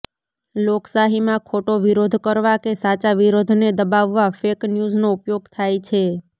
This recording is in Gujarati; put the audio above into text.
લોકશાહીમાં ખોટો વિરોધ કરવા કે સાચા વિરોધને દબાવવા ફેક ન્યૂઝનો ઉપયોગ થાય છે